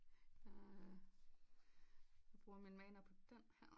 Jeg bruger min mana på den her